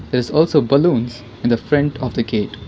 there is also balloons in the front of the gate.